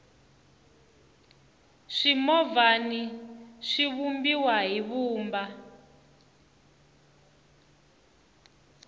swimovhana swi vumbiwa hi vumba